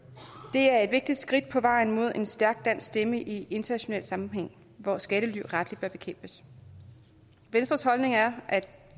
det er et vigtigt skridt på vejen mod en stærk dansk stemme i international sammenhæng hvor skattely rettelig bør bekæmpes venstres holdning er at